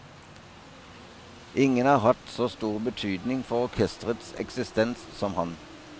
Ingen har hatt så stor betydning for orkesterets eksistens som han.